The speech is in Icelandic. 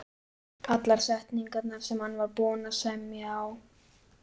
Allar setningarnar, sem hann var búinn að semja á